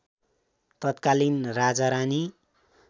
तत्कालीन राजारानी